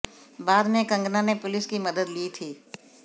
बाद में कंगना ने पुलिस की मदद ली थी